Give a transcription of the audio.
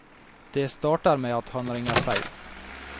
Det starter med at han ringer feil.